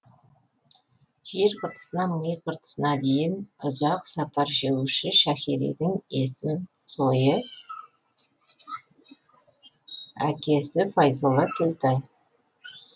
жер қыртысынан ми қыртысна дейін ұзақ сапар шегуші шәһиридің есім сойы акесі файзолла төлтай